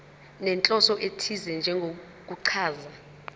nenhloso ethize njengokuchaza